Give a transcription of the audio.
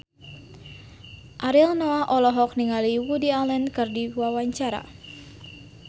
Ariel Noah olohok ningali Woody Allen keur diwawancara